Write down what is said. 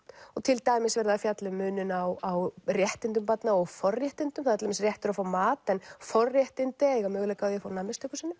og til dæmis verið að fjalla um muninn á réttindum barna og forréttindum það er til dæmis réttur að fá mat en forréttindi að eiga möguleika á því að fá nammi stöku sinnum